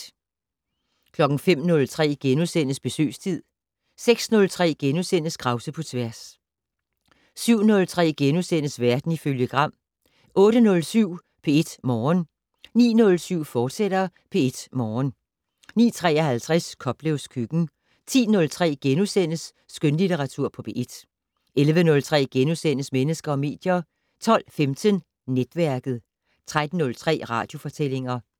05:03: Besøgstid * 06:03: Krause på tværs * 07:03: Verden ifølge Gram * 08:07: P1 Morgen 09:07: P1 Morgen, fortsat 09:53: Koplevs køkken 10:03: Skønlitteratur på P1 * 11:03: Mennesker og medier * 12:15: Netværket 13:03: Radiofortællinger